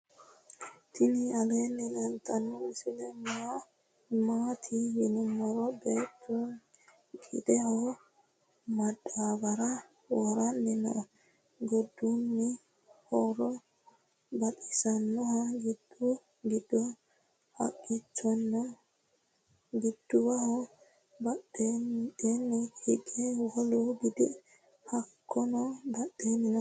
tini aleni leltano misile mati yinumoro. beetu gideho madabara woranni noo. godunno hooro baxisanoho. gidu gido haqichono noo. gidwho badhedheni hige woolu gidi hakuno badala noo.